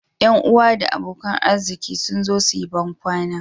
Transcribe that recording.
Yan uwa da abokan arziki sun zo su yi bankwana